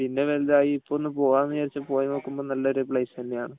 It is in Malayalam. പിന്നെ വലുതായി ഇപ്പം ഒന്ന് പോകാം എന്ന് വിചാരിച്ചു പോയി നോക്കുമ്പോൾ നല്ലൊരു പ്ലെയ്സ് തന്നെയാണ്